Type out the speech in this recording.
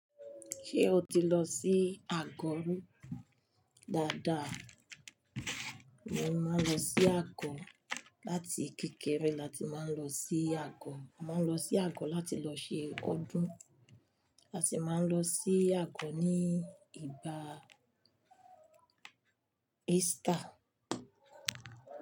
Ṣé o ti lọ sí Àkọ́rún? Dáadáa. Mo máa lọ sí Àkọ. Láti kékeré lati máa lọ sí Àkọ. A máa lọ sí Àkọ láti lọ ṣe ọdún. A sì máa lọ sí Àkọ ní ìgbà Easter.